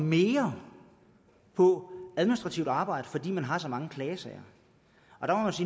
mere på administrativt arbejde fordi man har så mange klagesager